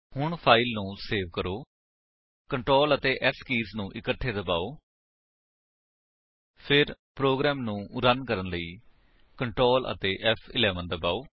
ਹੁਣ ਫਾਇਲ ਨੂੰ ਸੇਵ ਕਰੋ Ctrl ਅਤੇ S ਕੀਜ ਨੂੰ ਇਕੱਠੇ ਦਬਾਓ ਫਿਰ ਪ੍ਰੋਗਰਾਮ ਨੂੰ ਰਨ ਕਰਨ ਲਈ Ctrl ਅਤੇ ਫ਼11 ਦਬਾਓ